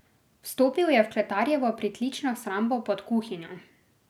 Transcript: Vstopil je v kletarjevo pritlično shrambo pod kuhinjo.